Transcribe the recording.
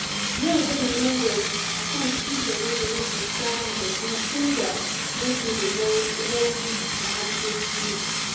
Yau zan yi nazari kan ci gaban da na ke samu da Kuma in da na ke da rauni a harkokina.